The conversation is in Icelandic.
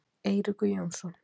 Eiríkur Jónsson.